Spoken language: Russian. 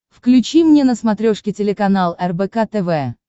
включи мне на смотрешке телеканал рбк тв